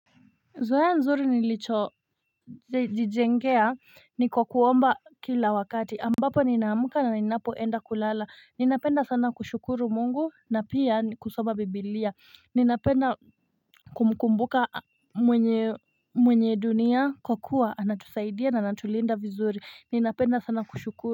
Zoea nzuri nilichojijengea ni kwa kuomba kila wakati ambapo ninaamka na ninapoenda kulala ninapenda sana kushukuru Mungu na pia kusoma biblia ni napenda kumkumbuka mwenye dunia kwa kuwa anatusaidia na anatulinda vizuri ninapenda sana kushukuru.